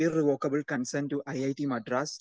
speaker 2 irrevocable consent to I I T Madras